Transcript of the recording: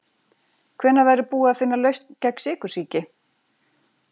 Hvenær verður búið að finna lausn gegn sykursýki?